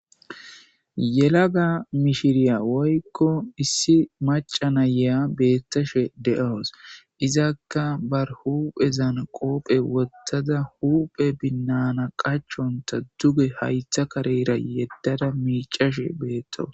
yelaga mishiriya woykko issi maca na'iya beettashe de'awos izakka bar huphezan qoophe wottada huphe binnana qachonta duge haytha kareyra yeddada miicashe beettawus